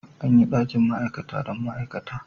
An yi dakin ma'aikata dan ma'aikata.